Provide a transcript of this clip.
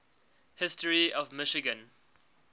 history of michigan